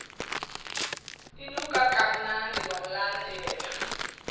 inuka kamnandi wamlandela